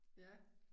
Ja